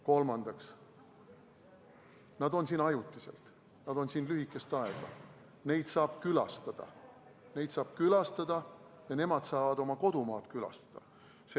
Kolmandaks, nad on siin ajutiselt, nad on siin lühikest aega, neid saab külastada ja nemad saavad oma kodumaad külastada.